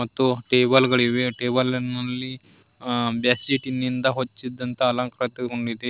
ಮತ್ತು ಟೇಬಲ ಗಳಿವೆ ಟೇಬಲ್ ಮೇಲೆ ಬೆಡ್ಶೀಟಿನಿಂದ ಹೊಚ್ಚಿದಂತ ಅಲಂಕೃತಗೊಂಡಿವೆ.